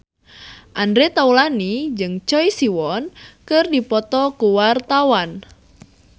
Andre Taulany jeung Choi Siwon keur dipoto ku wartawan